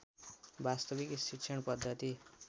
वास्तविक शिक्षण पद्धति